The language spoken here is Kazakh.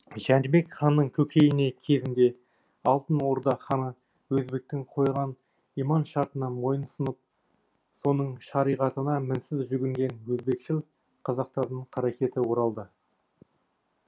жәнібек ханның көкейіне кезінде алтын орда ханы өзбектің қойған иман шартына мойынсұнып соның шариғатына мінсіз жүгінген өзбекшіл қазақтардың қаракеті оралды